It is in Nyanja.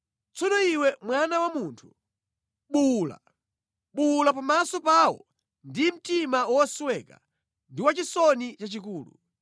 “Tsono iwe mwana wa munthu, buwula. Buwula pamaso pawo ndi mtima wosweka ndi wachisoni chachikulu.